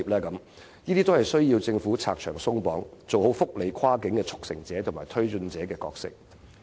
凡此種種均須政府拆牆鬆綁，做好跨境福利的速成者和推進者的角色。